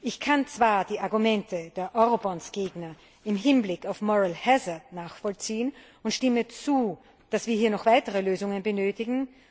Ich kann zwar die Argumente der Eurobonds Gegner im Hinblick auf moral hazard nachvollziehen und stimme zu, dass wir hier noch weitere Lösungen benötigen.